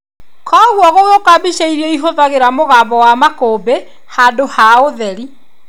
Koguo gũgĩũka mbica iria ĩhuthagĩra mũgambo wa makũmbĩ handũ ha ũtheri.